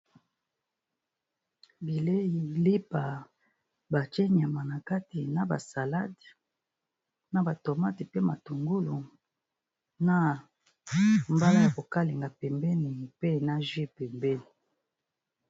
Bileyi lipa batie nyama na kati na ba salade, na ba tomate, pe matungulu, na mbala ya ko kalinga pembeni, mpe na jus pembeni.